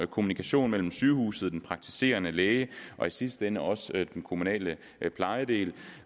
kommunikation mellem sygehuset den praktiserende læge og i sidste ende også den kommunale plejedel